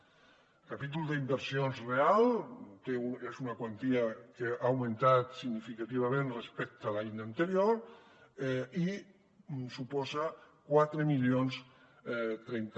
el capítol d’inversions reals és una quantia que ha augmentat significativament respecte l’any anterior i suposa quatre mil trenta